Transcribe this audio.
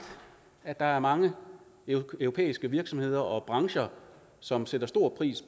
at der er mange europæiske virksomheder og brancher som sætter stor pris